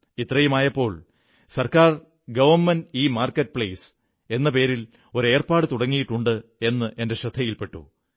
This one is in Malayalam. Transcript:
ഇത്രയുമായപ്പോൾ ഗവൺമെന്റ്ഇമാർകറ്റ് പ്ലേസ് എന്ന പേരിൽ ഒരു ഏർപ്പാടു തുടങ്ങിയിട്ടുണ്ടെന്ന് എന്റെ ശ്രദ്ധയിൽപെട്ടു